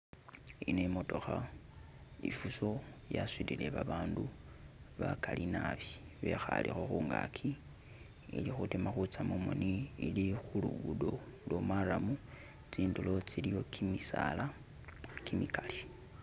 Eno imotokha ei Fuso yasudile babandu bakali naabi bekhalekho khungaki nilikhutima khusa mumoni, ili khulugudo lo marram, tsindilo tsilikho kimisaala kimikali